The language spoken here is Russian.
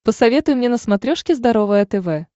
посоветуй мне на смотрешке здоровое тв